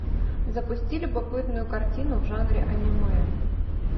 запусти любопытную картину в жанре аниме